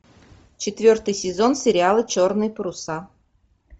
четвертый сезон сериала черные паруса